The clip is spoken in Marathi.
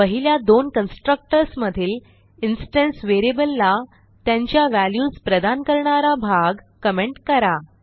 पहिल्या दोन कन्स्ट्रक्टर्स मधील इन्स्टन्स व्हेरिएबलला त्यांच्या व्हॅल्यूज प्रदान करणारा भाग कमेंट करा